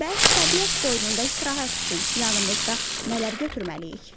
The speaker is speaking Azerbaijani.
Bəs təbiət qoynunda istirahət üçün yanımızda nələr götürməliyik?